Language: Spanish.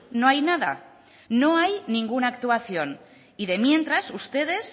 no hay nada no hay ninguna actuación y de mientras ustedes